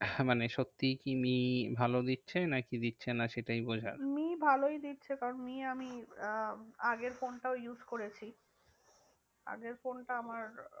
মানে সত্যি কি মি ভাল দিচ্ছে নাকি দিচ্ছে না সেটাই বোঝার। মি ভালোই দিচ্ছে কারণ মি আমি আহ আগের ফোনটাও use করেছি। আগের ফোনটা আমার,